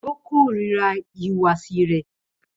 Ó kórira ìhùwàsí rẹ̀.